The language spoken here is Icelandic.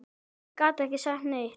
Ég gat ekki sagt neitt.